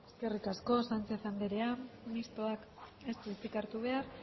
eskerrik asko sánchez anderea mistoak ez du hitzik hartu behar